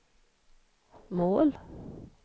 mål